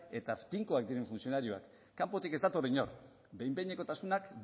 eta tinkoak diren funtzionarioak kanpotik ez dator inor behin behinekotasunak